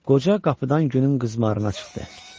Qoca qapıdan günün qızmarına çıxdı.